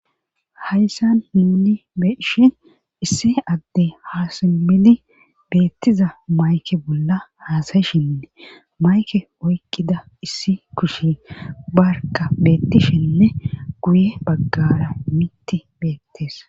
hayssan himni beeshi isse adde haasimmidi beettiza mayke bolla haasayishinne mayke oykkida issi kushi barka beettishinne guye baggara mitti beettees